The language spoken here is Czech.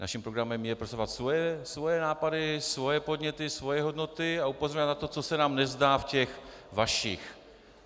Naším programem je prosazovat svoje nápady, svoje podněty, svoje hodnoty a upozorňovat na to, co se nám nezdá v těch vašich.